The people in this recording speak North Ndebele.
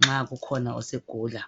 nxa kukhona esegula.